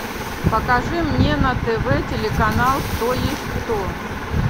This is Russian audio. покажи мне на тв телеканал кто есть кто